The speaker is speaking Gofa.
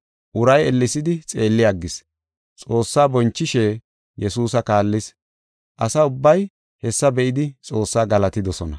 Uray ellesidi xeelli aggis. Xoossaa bonchishe Yesuusa kaallis. Asa ubbay hessa be7idi Xoosse galatidosona.